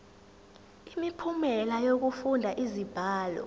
imiphumela yokufunda izibalo